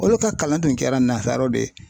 Olu ka kalan tun kɛra nasaraw de ye.